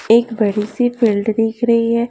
एक बड़ी सी फील्ड दिख रही है।